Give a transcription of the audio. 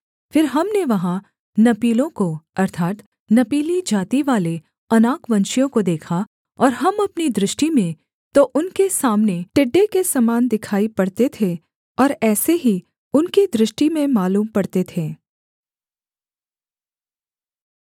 फिर हमने वहाँ नपीलों को अर्थात् नपीली जातिवाले अनाकवंशियों को देखा और हम अपनी दृष्टि में तो उनके सामने टिड्डे के समान दिखाई पड़ते थे और ऐसे ही उनकी दृष्टि में मालूम पड़ते थे